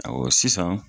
Ɔwɔ sisan